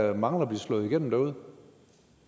der mangler at slå igennem derude